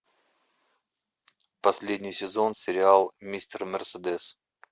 последний сезон сериал мистер мерседес